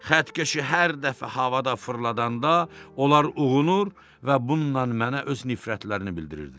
Xəttkeşi hər dəfə havada fırladanda, onlar uğunur və bununla mənə öz nifrətlərini bildirirdilər.